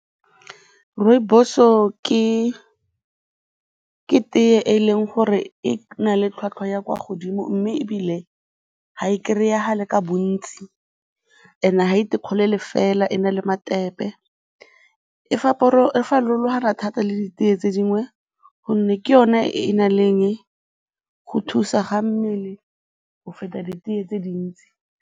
Rooibos-o ke tee e leng gore e na le tlhwatlhwa ya kwa godimo mme ebile ga e kry-agale ka bontsi and ga e fela e na le metepe. E farologana thata le ditee tse dingwe gonne ke yone e e nang le eng, go thusa ga mmele go feta ditee tse dintsi.